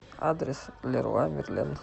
адрес леруа мерлен